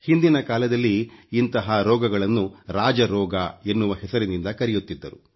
ಹಿಂದಿನ ಕಾಲದಲ್ಲಿ ಇಂತಹ ರೋಗಗಳನ್ನು ರಾಜ ರೋಗ ಎನ್ನುವ ಹೆಸರಿನಿಂದ ಕರೆಯುತ್ತಿದ್ದರು